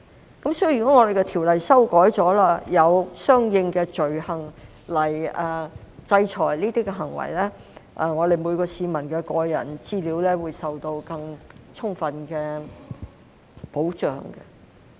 如果《私隱條例》經修改後，有了相應的罪行來制裁這些行為，每位市民的個人資料都可受到更充分的保障。